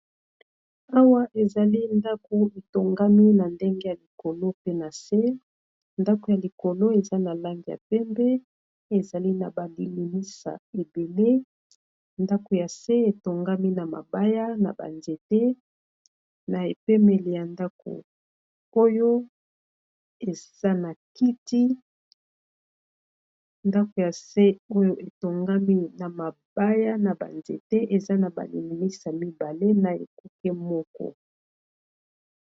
Awa ezali ndako etongami na ndenge ya likolo pe na se ndako ya likolo eza na langi ya pembe ezali na ba lilimisa ebele ndaku ya se etongami na mabaya na ba nzete na epemeli ya ndako oyo eza na kiti ndako ya se oyo etongami na mabaya na ba nzete eza na ba lilimisa mibale na ekuke moko.